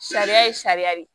Sariya ye sariya de ye